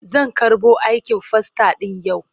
Zan karɓo aikin fasta ɗin yau.